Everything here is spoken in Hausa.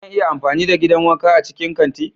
Zan iya amfani da gidan wanka a cikin kanti?